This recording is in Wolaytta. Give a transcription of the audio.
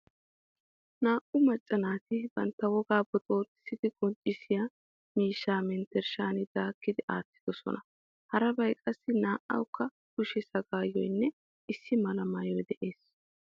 Naa"u macca naati bantta wogaa boxooxissi qonccissiya miishshaa menttershshaa daakki aattidosona. Harabay qassi naa"awukka kushe sagaayoy nne issi mala maayoy de'es.